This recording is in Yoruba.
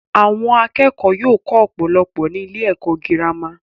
Àwọn akẹ́kọ̀ọ́ yóò kọ́ ọ̀pọ̀lọpọ̀ ní ilé-ẹ̀kọ́ girama.